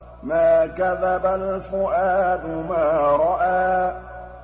مَا كَذَبَ الْفُؤَادُ مَا رَأَىٰ